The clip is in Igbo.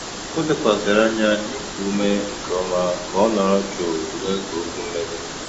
Ó lékwàsị̀rị́ ányá nà íkú úmé nkè ọ́má kà ọ́ nọ̀rọ̀ jụ́ụ́ nógé ókwú mmèghe.